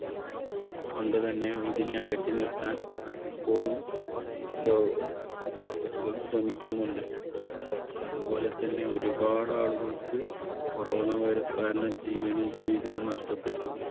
കൊണ്ട് തന്നെ ഇതിനെ അകറ്റി നിർത്താൻ ഇപ്പോഴും ലോക ലോകം ശ്രമിക്കുന്നുണ്ട്. അതുപോലെതന്നെ ഒരുപാട് ആളുകൾക്ക് corona virus കാരണം ജീവനും ജീവിതവും നഷ്ടപ്പെട്ടു.